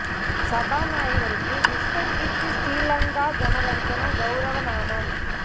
சபாநாயகருக்கு விஷ்வ கீர்த்தி ஸ்ரீ லங்கா ஜனரஞ்சன கௌரவ நாமம்